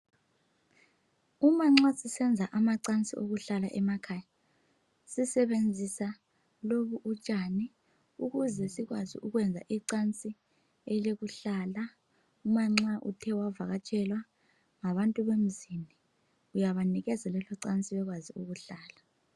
Umanxa sisenza amacansi okuhlala emakhaya sisebenza lobu utshani ukuze sikwazi ukuyenza icansi elokuhlala uma nxa uthe wavakatshelwa ngabantu bemzini uyabanikeza lelo cansi bekwazi ukuhlala